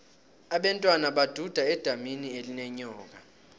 abentwana baduda edamini elinenyoka